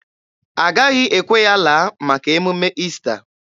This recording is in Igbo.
A gaghị ekwe ya laa maka emume Ista.